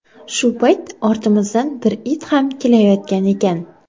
Shu payt ortimizdan bir it ham kelayotgan ekan.